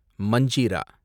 manjira